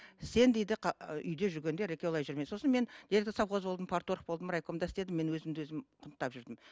сен дейді үйде жүргенде ыреке олай жүрме сосын мен завхоз болдым болдым райкомда істедім мен өзімді өзім құнттап жүрдім